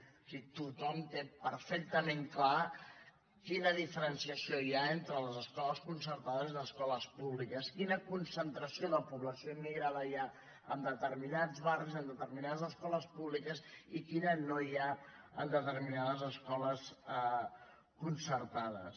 o sigui tothom té perfectament clar quina diferenciació hi ha entre les escoles concertades i les escoles públiques quina concentració de població immigrada hi ha en determinats barris en determinades escoles públiques i quina no hi ha en determinades escoles concertades